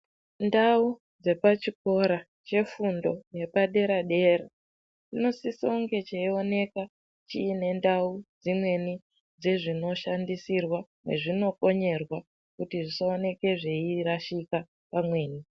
Ndau dzepachikora chefundo yepadera-dera chinosiso kunge cheioneka chiine ndau dzimweni dzezvinoshandisirwa mwezvinokonyerwa kuti zvisaoneke zveirashika pamweni.